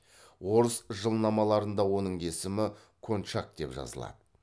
орыс жылнамаларында оның есімі кончак деп жазылады